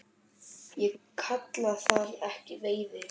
Ég kalla það ekki veiði.